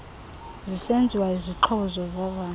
zisenziwa izixhobo zovavanyo